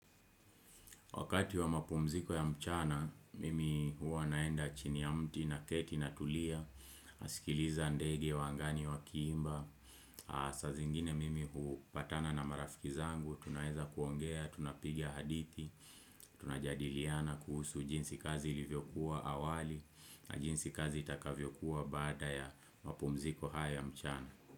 Wakati wa mapumziko ya mchana, mimi huwa naenda chini ya mti na keti na tulia, asikiliza ndege ya wangani wa kiimba, masaa zingine mimi hupatana na marafiki zangu, tunaweza kuongea, tunapigia hadithi, tunajadiliana kuhusu jinsi kazi ilivyokuwa awali na jinsi kazi itakavyokuwa bada ya mapumziko haya mchana.